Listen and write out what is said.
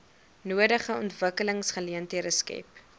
nodige ontwikkelingsgeleenthede skep